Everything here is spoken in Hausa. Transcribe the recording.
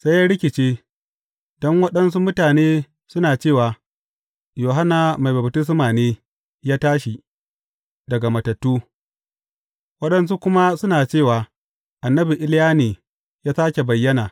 Sai ya rikice, don waɗansu mutane suna cewa, Yohanna Mai Baftisma ne ya tashi daga matattu, waɗansu kuma suna cewa, annabi Iliya ne ya sāke bayyana.